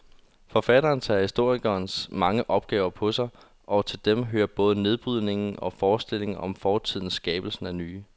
Forfatteren tager historikerens mange opgaver på sig, og til dem hører både nedbrydningen af forestillinger om fortiden skabelsen af nye.